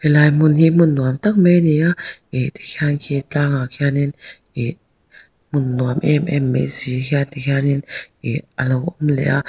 helai hmun hi hmun nuam tak mai ani a ih tikhian khi tlangah khianin ih hmun nuam em em mai si hian tihianin ih alo awm leh a.